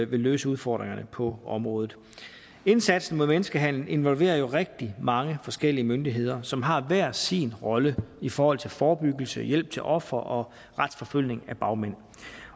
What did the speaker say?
vil løse udfordringerne på området indsatsen mod menneskehandel involverer jo rigtig mange forskellige myndigheder som har hver sin rolle i forhold til forebyggelse hjælp til ofre og retsforfølgning af bagmænd